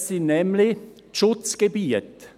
Es sind nämlich die Schutzgebiete.